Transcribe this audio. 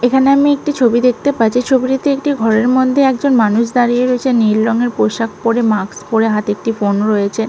এখানে আমি একটি ছবি দেখতে পাচ্ছি। ছবিটিতে একটি ঘরের মধ্যে একজন মানুষ দাঁড়িয়ে রয়েছে নীল রংয়ের পোশাক পরে মাস্ক পরে। হাতে একটি ফোন রয়েছে।